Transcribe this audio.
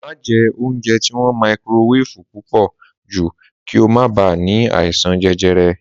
Má je oúnjẹ tí wọn maikirowéfù púpò jù kí o ma bá ní àìsàn jẹjẹrẹ